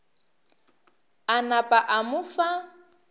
a napa a mo fa